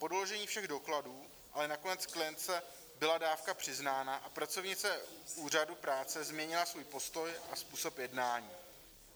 Po doložení všech dokladů ale nakonec klientce byla dávka přiznána a pracovnice úřadu práce změnila svůj postoj a způsob jednání.